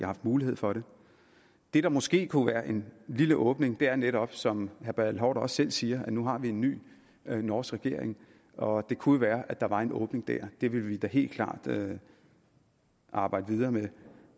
haft mulighed for det det der måske kunne være en lille åbning er netop som herre bertel haarder også selv siger at nu har vi en ny norsk regering og det kunne jo være at der var en åbning der det vil vi da helt klart arbejde videre med